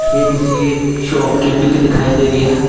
यह किसी शॉप की पिक दिखाई दे रही है।